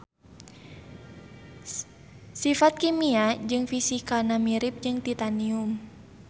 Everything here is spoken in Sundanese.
Sifat kimia jeung fisikana mirip jeung titanium